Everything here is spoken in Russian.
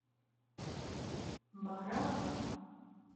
мараба